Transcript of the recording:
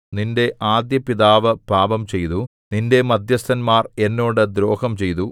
നിന്റെ ആദ്യപിതാവ് പാപംചെയ്തു നിന്റെ മദ്ധ്യസ്ഥന്മാർ എന്നോട് ദ്രോഹം ചെയ്തു